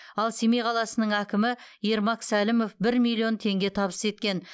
ал семей қаласының әкімі ермак сәлімов бір миллион теңге табыс еткен